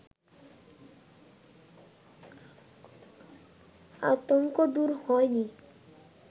আতঙ্ক দূর হয়নি